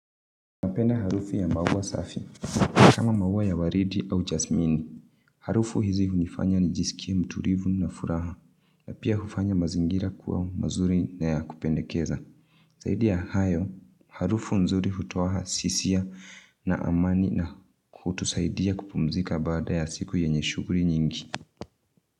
Napenda harufu ya maua safi kama maua ya waridi au jasmini Harufu hizi hunifanya nijisikie mtulivu na furaha na pia hufanya mazingira kuwa mazuri na ya kupendekeza saidi ya hayo, harufu nzuri hutoa hisia na amani na kutusaidia kupumzika baada ya siku yenye shughuli nyingi.